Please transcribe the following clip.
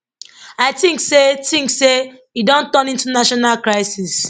i tink say tink say e don turn into national crisis